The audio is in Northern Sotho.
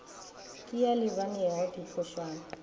ke a a lebanego diphošwana